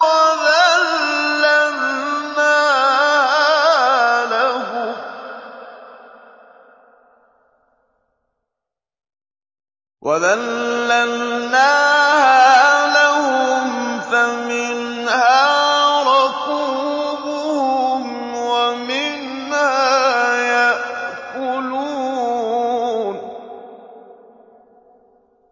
وَذَلَّلْنَاهَا لَهُمْ فَمِنْهَا رَكُوبُهُمْ وَمِنْهَا يَأْكُلُونَ